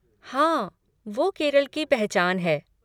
हाँ, वो केरल की पहचान है।